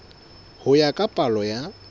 ho ya ka palo ya